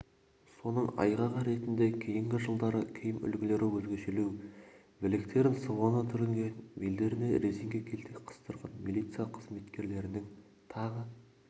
соның айғағы ретінде кейінгі жылдары киім үлгілері өзгешелеу білектерін сыбана түрінген белдеріне резеңке келтек қыстырған милиция қызметкерлерінің тағы